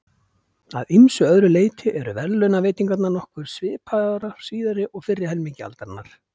Að ýmsu öðru leyti eru verðlaunaveitingarnar nokkuð svipaðar á síðari og fyrri helmingi aldarinnar.